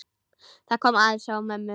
Það kom aðeins á mömmu.